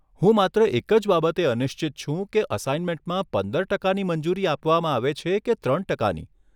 હું માત્ર એક જ બાબતે અનિશ્ચિત છું કે અસાઇનમેન્ટમાં પંદર ટકાની મંજૂરી આપવામાં આવે છે કે ત્રણ ટકાની?